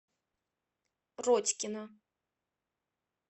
родькина